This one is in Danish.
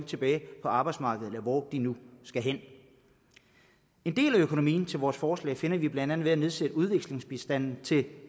tilbage på arbejdsmarkedet eller hvor de nu skal hen en del af økonomien til vores forslag finder vi blandt andet ved at nedsætte udviklingsbistanden til